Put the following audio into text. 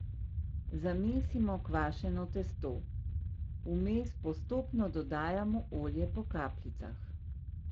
Zamesimo kvašeno testo, vmes postopno dodajamo olje po kapljicah.